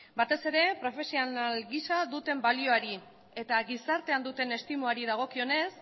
batez ere profesional gisa duten balioari eta gizartean duten estimari dagokionez